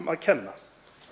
að kenna